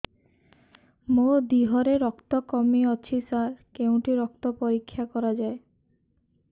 ମୋ ଦିହରେ ରକ୍ତ କମି ଅଛି ସାର କେଉଁଠି ରକ୍ତ ପରୀକ୍ଷା କରାଯାଏ